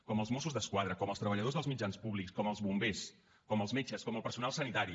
com els mossos d’esquadra com els treballadors dels mitjans públics com els bombers com els metges com el personal sanitari